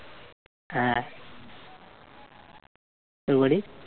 হ্যাঁ। তোর বাড়ির?